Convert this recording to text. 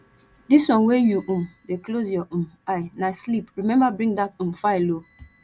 dis wan wey you um dey close your um eye na sleep remember bring dat um file oo